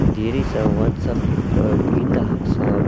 there is a one shop keeper in the ha-shop.